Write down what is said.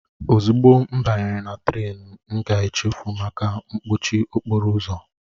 Ozugbo m banyere na Trén m ga-echefu maka mkpọchi okporo ụzọ